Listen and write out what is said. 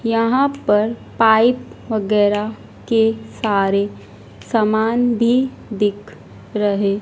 यहां पर पाइप वगैरह के सारे समान भी दिख रहे--